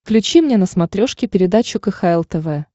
включи мне на смотрешке передачу кхл тв